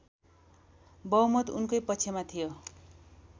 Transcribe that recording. बहुमत उनकै पक्षमा थियो